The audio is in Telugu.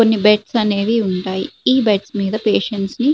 కొన్ని బెడ్స్ అనేవి ఉంటాయి ఈ బెడ్స్ మీద పేషెంట్స్ ని --